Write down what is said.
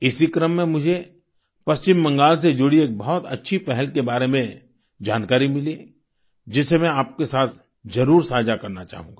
इसी क्रम में मुझे पश्चिम बंगाल से जुड़ी एक बहुत अच्छी पहल के बारे में जानकारी मिली जिसे मैं आपसे साथ जरुर साझा करना चाहूंगा